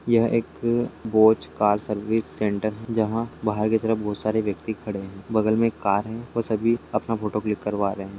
यह एक बोज कार सर्विस सेण्टर है जहां बाहर के तरफ बहुत सारे व्यक्ति खड़े है बगल में एक कार है और सभी अपना फोटो क्लिक करवा रहे है।